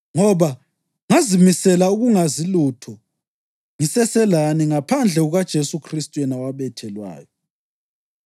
Ngoba ngazimisela ukungazi lutho ngiseselani ngaphandle kukaJesu Khristu yena owabethelwayo.